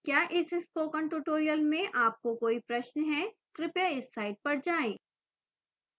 क्या इस spoken tutorial में आपको कोई प्रश्न है कृपया इस साइट पर जाएं